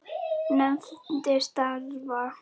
Nefndir starfa